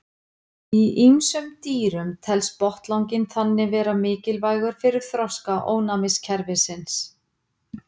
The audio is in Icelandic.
Í ýmsum dýrum telst botnlanginn þannig vera mikilvægur fyrir þroska ónæmiskerfisins.